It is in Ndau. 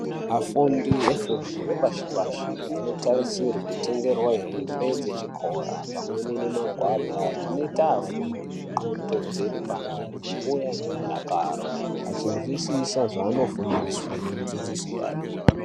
Afundi vefundo yepashi-pashi anotarisirwe kutengerwa hembe dzechikora pamweni nemagwada zvinoita afundi ndxondo dziri pamweni uye nemudakaro, achinzwisisa zvaanofundiswe ngemudzidzisi yayo.